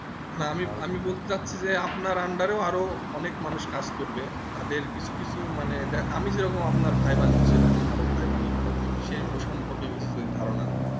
না না আমি বলতে যাচ্ছি যে আপনার under এ আরো অনেক মানুষ কাজ করবে তাদের কিছু কিছু মানে আমি যেমন আপনা কে ভাই বানিয়ে এইরকম আরও ভাই বানাতে হবে সেই সম্পর্কে ধারণা দিতে